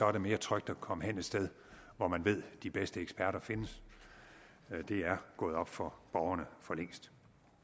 er det mere trygt at komme hen et sted hvor man ved de bedste eksperter findes det er gået op for borgerne for længst